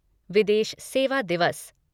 विदेश सेवा दिवस